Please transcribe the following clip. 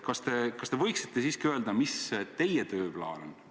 Kas te võiksite siiski öelda, mis see teie tööplaan on?